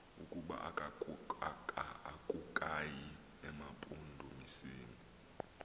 ukuba akukayi emampondomiseni